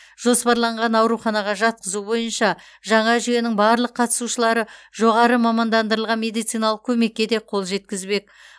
жоспарланған ауруханаға жатқызу бойынша жаңа жүйенің барлық қатысушылары жоғары мамандандырылған медициналық көмекке де қол жеткізбек